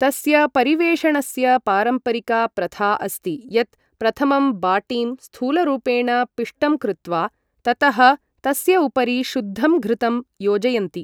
तस्य परिवेषणस्य पारम्परिका प्रथा अस्ति यत् प्रथमं बाटीं स्थूलरूपेण पिष्टं कृत्वा, ततः तस्य उपरि शुद्धं घृतं योजयन्ति।